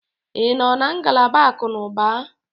Ị nọ na ngalaba akụnụba?